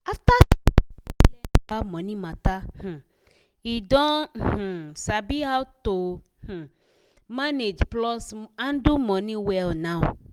after sarah go learn about money matter um e don um sabi how to um manage plus handle money well now.